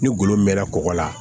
Ni golo mɛɛnna kɔgɔ la